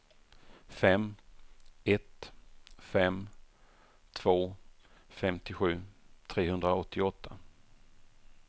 fem ett fem två femtiosju trehundraåttioåtta